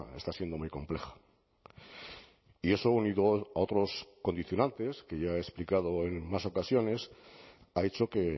está siendo muy compleja y eso unido a otros condicionantes que ya he explicado en más ocasiones ha hecho que